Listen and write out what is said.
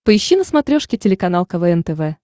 поищи на смотрешке телеканал квн тв